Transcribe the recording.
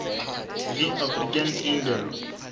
v african eagle